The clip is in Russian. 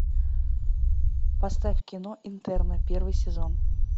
поставь кино интерны первый сезон